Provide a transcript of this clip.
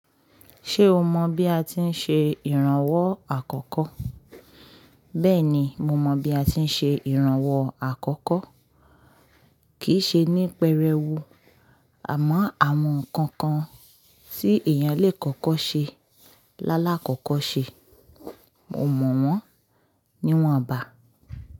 Ṣé o mọ bí a ti ń ṣe ìrànwọ́ àkọ́kọ́? Bẹ́ẹ̀ni, mo mọ bí a ti ń ṣe ìrànwọ́ àkọ́kọ́. Kì í ṣe ní pẹrẹú, àmọ́ àwọn nǹkan kan tí èèyàn lè kọ́kọ́ ṣe lálákọ̀kọ́ ṣe, mo mọ̀ wọ́n, níwọn bà.